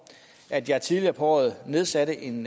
at jeg tidligere på året nedsatte en